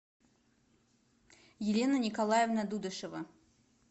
елена николаевна дудышева